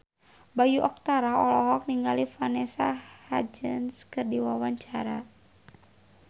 Bayu Octara olohok ningali Vanessa Hudgens keur diwawancara